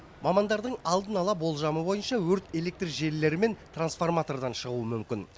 мамандардың алдын ала болжамы бойынша өрт электр желілері мен трансформатордан шығуы мүмкін